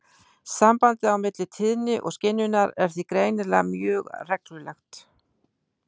Sambandið á milli tíðni og skynjunar er því greinilega mjög reglulegt.